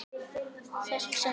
Það sem ég sakna þín.